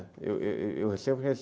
Eu sempre